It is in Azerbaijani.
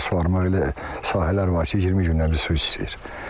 Elə sahələr var ki, 20 gündən bir su istəyir.